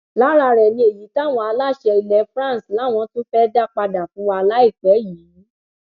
lára rẹ ni èyí táwọn aláṣẹ ilẹ france làwọn tún fẹẹ dá padà fún wa láìpẹ yìí